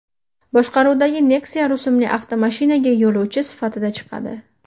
boshqaruvidagi Nexia rusumli avtomashinaga yo‘lovchi sifatida chiqadi.